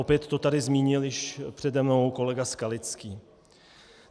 Opět to tady zmínil již přede mnou kolega Skalický.